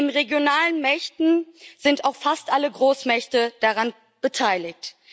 Neben regionalen Mächten sind auch fast alle Großmächte daran beteiligt.